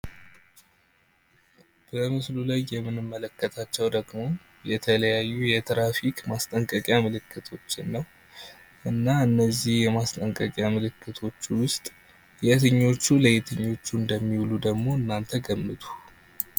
በምስሉ ላይ የምንመለከታቸው ደግሞ የተለያዩ የትራፊክ ማስጠንቀቂያ ምልክቶችን ነው። እና እነዚህ ማስጠንቀቂያ ምልክቶች ውስጥ የትኞቹ ለየትኞቹ እንደሚውሉ ደግሞ እናንተ ገመቱ?